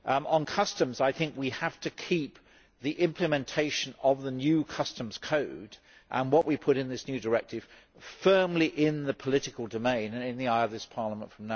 On customs, from now on, we have to keep the implementation of the new Customs Code, and of what we put in this new directive, firmly in the political domain and in the eye of this Parliament.